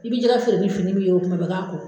I bi jɛgɛ feere ni fini min ye kuma bɛɛ i k'a ko.